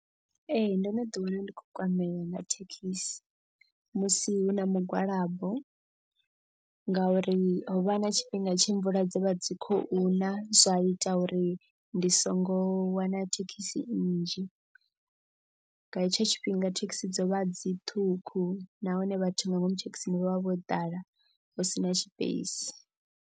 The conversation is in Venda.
Ee ndo no ḓi wana ndi khou kwamea nga thekhisi musi hu na mugwalabo. Ngauri ho vha na tshifhinga tshe mvula dza vha dzi khou na zwa ita uri ndi songo wana thekhisi nnzhi. Nga hetsho tshifhinga thekhisi dzo vha dzi ṱhukhu nahone vhathu nga ngomu thekhisini vha vha vho ḓala hu si na space.